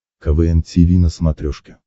квн тиви на смотрешке